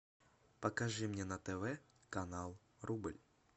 покажи мне на тв канал рубль